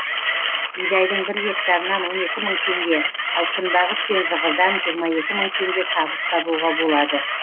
бидайдың бір гектарынан он екі мың теңге ал күнбағыс пен зығырдан жиырма екі мың теңге табыс табуға болады